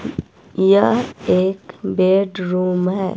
यह एक bedroom है।